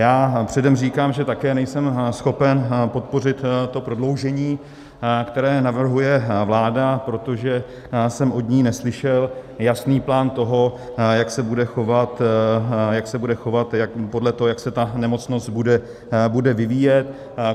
Já předem říkám, že také nejsem schopen podpořit to prodloužení, které navrhuje vláda, protože jsem od ní neslyšel jasný plán toho, jak se bude chovat podle toho, jak se ta nemocnost bude vyvíjet.